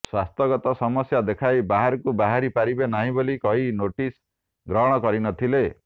ସ୍ୱାସ୍ଥ୍ୟଗତ ସମସ୍ୟା ଦେଖାଇ ବାହାରକୁ ବାହାରି ପାରିବେ ନାହିଁ ବୋଲି କହି ନୋଟିସ୍ ଗ୍ରହଣ କରି ନଥିଲେ